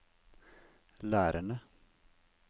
lærerne